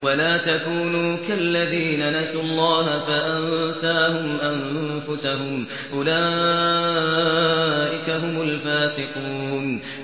وَلَا تَكُونُوا كَالَّذِينَ نَسُوا اللَّهَ فَأَنسَاهُمْ أَنفُسَهُمْ ۚ أُولَٰئِكَ هُمُ الْفَاسِقُونَ